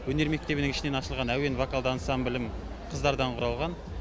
өнер мектебінің ішінен ашылған әуен вокалды ансамблім қыздардан құралған